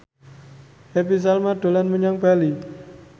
Happy Salma dolan menyang Bali